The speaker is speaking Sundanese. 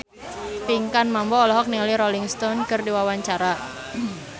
Pinkan Mambo olohok ningali Rolling Stone keur diwawancara